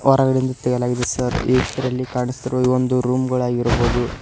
ಹೊರಗಡೆಯಿಂದ ತೆಗೆಯಲಾಗಿದೆ ಸರ್ ಈ ಚಿತ್ರದಲ್ಲಿ ಕಾಣಿಸುತ್ತಿರುವ ಇದು ಒಂದು ರೂಮ್ ಗಳಾಗಿರಬಹುದು.